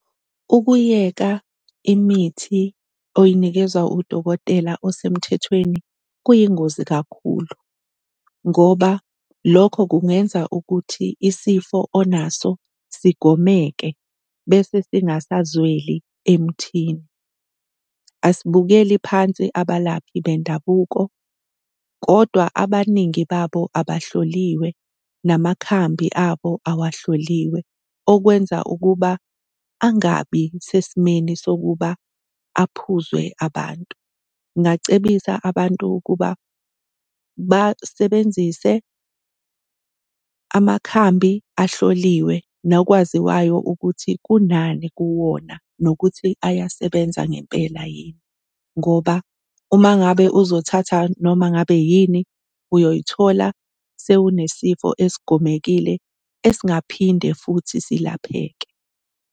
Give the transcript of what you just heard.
Ukuyeka imithi oyinikezwa udokotela osemthethweni kuyingozi kakhulu ngoba lokho kungenza ukuthi isifo onaso sigomeke bese singasazweli emthini. Asibukeli phansi abalaphi bendabuko, kodwa abaningi babo abahloliwe, namakhambi abo awahloliwe okwenza ukuba angabi sesimeni sokuba aphuzwe abantu. Ngingacebisa abantu kuba basebenzise amakhambi ahloliwe nokwaziwayo ukuthi kunani kuwona, nokuthi ayasebenza ngempela yini. Ngoba uma ngabe uzothatha noma ngabe yini uyoy'thola sewunesifo esigomekile esingaphinde futhi silapheke.